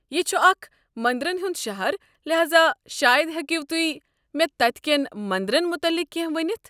یہ چھُ اکھ منٛدرن ہٗنٛد شہر، لحاذا شاید ہٮ۪کِو تُہۍ مےٚ تتہ کٮ۪ن مٔنٛدرن متعلق کینٛہہ ؤنتھ؟